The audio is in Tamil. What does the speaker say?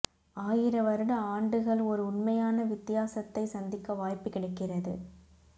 ஆயிர வருட ஆண்டுகள் ஒரு உண்மையான வித்தியாசத்தை சந்திக்க வாய்ப்பு கிடைக்கிறது